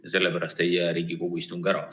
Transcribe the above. Aga sellepärast ei jää Riigikogu istung ära.